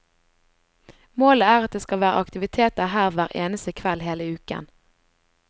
Målet er at det skal være aktiviteter her hver eneste kveld hele uken.